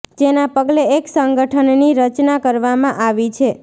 જેના પગલે એક સંગઠન ની રચના કરવામાં આવી છે